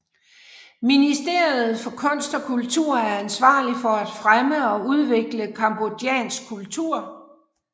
Ministeriet for kunst og kultur er ansvarlig for at fremme og udvikle cambodjansk kultur